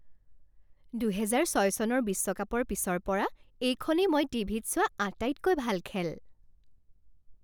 দুহেজাৰ ছয় চনৰ বিশ্বকাপৰ পিছৰ পৰা এইখনেই মই টিভিত চোৱা আটাইতকৈ ভাল খেল।